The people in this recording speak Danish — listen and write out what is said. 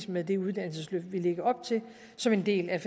med det uddannelsesløft vi lægger op til som en del af